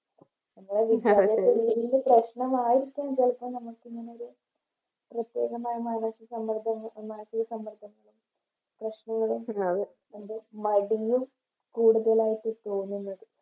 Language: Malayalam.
പ്രശ്നമായിരിക്കും ചെലപ്പോ നമുക്ക് ഇങ്ങനെയൊരു പ്രത്യേകമായ മാനസിക സമ്മർദ്ദം മാനസിക സമ്മർദ്ദം പ്രശ്നം മടിഞ്ഞ് കൂടുതലായിട്ട് തോന്നുന്നത്ത്